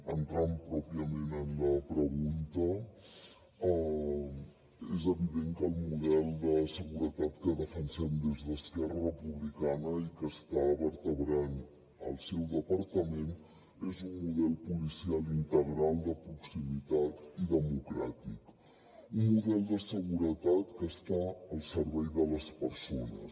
entrant pròpiament en la pregunta és evident que el model de seguretat que defensem des d’esquerra republicana i que està vertebrant el seu departament és un model policial integral de proximitat i democràtic un model de seguretat que està al servei de les persones